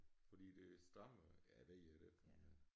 Fordi det strammer ja ved jeg da ikke men